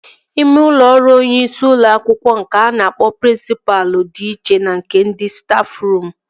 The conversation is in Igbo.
Ime ụlọ ọrụ onyeisi ụlọ akwụkwọ nke a na-akpọ prịnsịpa dị iche na nke stafruum